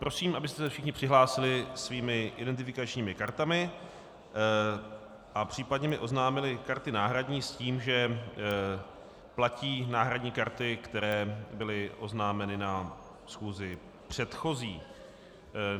Prosím, abyste se všichni přihlásili svými identifikačními kartami a případně mi oznámili karty náhradní, s tím, že platí náhradní karty, které byly oznámeny na schůzi předchozí.